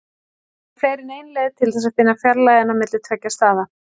Það eru fleiri en ein leið til þess að finna fjarlægðina á milli tveggja staða.